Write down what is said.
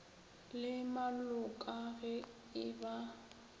le maloka ge e ba